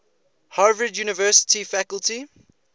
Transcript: harvard university faculty